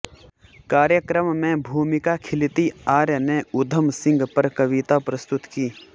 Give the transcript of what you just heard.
कार्यक्रम में भूमिका खिलती आर्य ने उधम सिंह पर कविता प्रस्तुत की